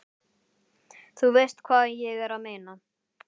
Þú veist hvað ég er að meina.